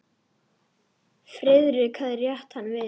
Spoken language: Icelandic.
Friðrik hafði rétt hann við.